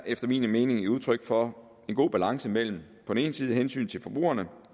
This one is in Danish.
efter min mening er udtryk for en god balance mellem på den ene side hensynet til forbrugerne